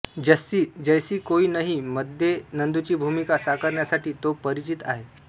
जस्सी जैसी कोई नहीं मध्ये नंदूची भूमिका साकारण्यासाठी तो परिचित आहे